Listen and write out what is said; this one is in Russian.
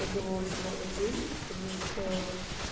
то было очень мало денег потому что